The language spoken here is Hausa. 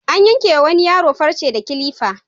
An yanke wa wani yaro farce da kilifa.